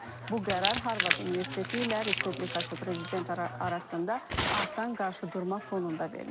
Qeyd edək ki, bu qərar Harvard Universiteti ilə Respublikaçı prezident arasında artan qarşıdurma fonunda verilib.